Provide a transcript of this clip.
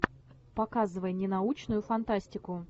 показывай не научную фантастику